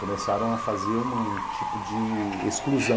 Começaram a fazer um tipo de exclusão.